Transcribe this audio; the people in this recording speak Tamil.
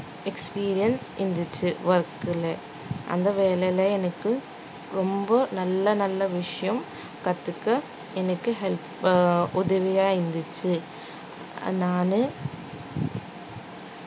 experience இருந்துச்சு work லே அந்த வேலையில எனக்கு ரொம்ப நல்ல நல்ல விஷயம் கத்துக்க எனக்கு help அ உதவியா இருந்துச்சு நானு